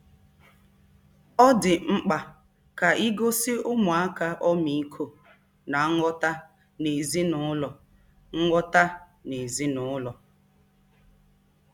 Ọ dị mkpa ka e gosi ụmụaka ọmịiko na nghọta n'ezinụlọ nghọta n'ezinụlọ.